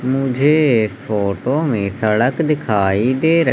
मुझे फोटो में सड़क दिखाई दे र--